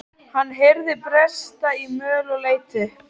Hann heyrði bresta í möl og leit upp.